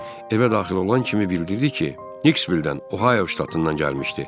Evə daxil olan kimi bildirdi ki, Niksvildən, Ohaio ştatından gəlmişdi.